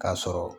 K'a sɔrɔ